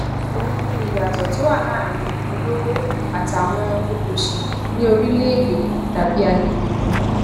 òun ni ìyàtò tó wà láàárín ọlọwọ àtàwọn tòṣì ní orílèèdè tàbí àgbègbè kan